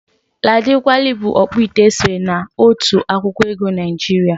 Ladi Kwali bụ ọkpụite e sere na otu akwụkwọ ego Naịjiria.